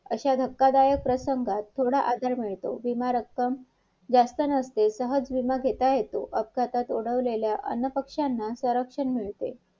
आता तुम्ही काय करा सरांचा phone आला मला line वरती घ्या माझ्याशी बोलणं करा मला concept करू द्या मला समजल काय हाय ना अंशी महिन्याला तुम्हाला देते. in the spot एकाच जाग्यावर एकाच area सगळ्यांना.